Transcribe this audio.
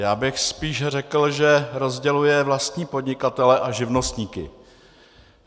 Já bych spíše řekl, že rozděluje vlastní podnikatele a živnostníky.